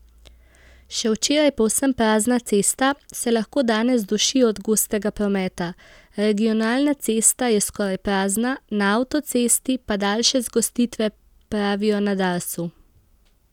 Še včeraj povsem prazna cesta, se lahko danes duši od gostega prometa, regionalna cesta je skoraj prazna, na avtocesti pa daljše zgostitve, pravijo na Darsu.